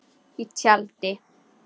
Í tjaldi.